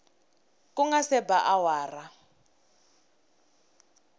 ku nga se ba awara